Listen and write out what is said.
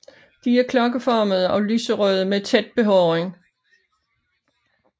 De er klokkeformede og lyserøde med tæt behåring